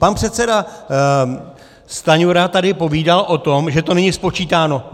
Pan předseda Stanjura tady povídal o tom, že to není spočítáno.